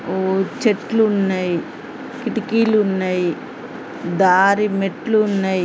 ఊ-ఊ చెట్లు ఉన్నాయి కిటికీలు ఉన్నాయి దారి మెట్లు .